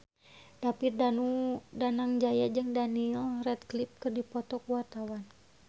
David Danu Danangjaya jeung Daniel Radcliffe keur dipoto ku wartawan